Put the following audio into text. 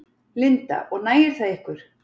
Linda: Og nægir það ykkur?